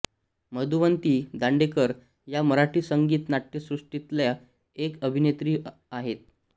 मधुवंती दांडेकर या मराठी संगीत नाट्यसृष्टीतल्या एक अभिनेत्री आहेत